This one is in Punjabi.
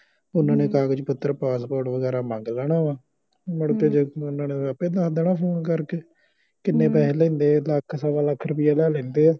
ਓਹਨਾ ਨੇ ਕਾਗਜ਼ ਪੱਤਰ ਪਾਸਪੋਰਟ ਵਗੈਰਾ ਮੰਗ ਲੈਣਾ ਵਾ ਮੁੜ ਕੇ ਆਪੇ ਦਸ ਦੇਣਾ ਫੋਨ ਕਰ ਕੇ ਕਿੰਨੇ ਪੈਸੇ ਲੈਂਦੇ ਲੱਖ ਸਵਾ ਲੱਖ ਰੁਪਏ ਲਾ ਲੈਂਦੇ